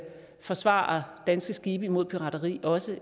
forsvare danske skibe mod pirateri også